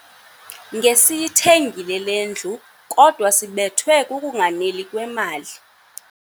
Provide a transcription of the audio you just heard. Ngesiyithengile le ndlu kodwa sibethwe kukunganeli kwemali.